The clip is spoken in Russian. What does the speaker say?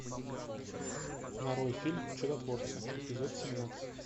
нарой фильм чудотворцы эпизод семнадцать